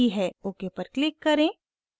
ok पर click करें